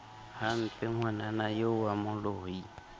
hampe ngwanana eo wa moloi